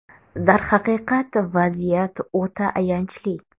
Darhaqiqat, vaziyat o‘ta ayanchli.